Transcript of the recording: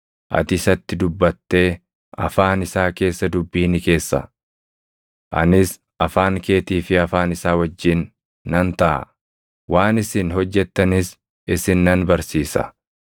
Ati isatti dubbatee afaan isaa keessa dubbii ni keessa; anis afaan keetii fi afaan isaa wajjin nan taʼa; waan isin hojjettanis isin nan barsiisa.